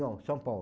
não, São Paulo.